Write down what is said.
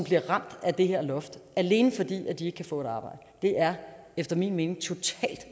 bliver ramt af det her loft alene fordi de ikke kan få et arbejde det er efter min mening totalt